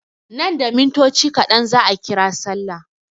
Nan da mintoci kaɗan za a ƙira sallah.